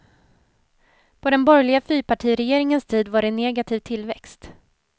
På den borgerliga fyrpartiregeringens tid var det negativ tillväxt.